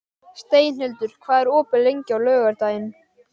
Steinhildur, hvað er opið lengi á laugardaginn?